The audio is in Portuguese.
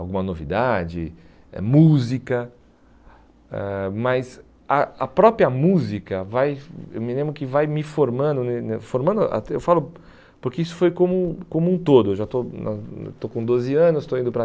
alguma novidade, eh música, eh mas a a própria música vai, eu me lembro que vai me formando né né, formando até, eu falo, porque isso foi como como um todo, eu já estou na na estou com doze anos, estou indo para